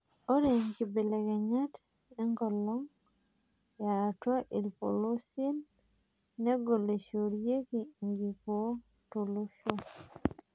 Ore nkibelekenyat enkolong yaatua irpolosien negol neishoorieki enkikoo toloshoo.